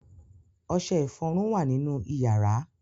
Ọṣẹ-ìfọrun wà nínú ìyàrá.